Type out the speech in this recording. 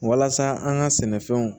Walasa an ka sɛnɛfɛnw